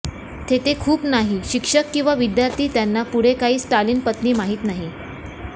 तेथे खूप नाही शिक्षक किंवा विद्यार्थी त्यांना पुढे काय स्टालिन पत्नी माहित नाही